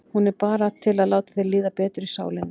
Hún er bara til að láta þér líða betur í sálinni.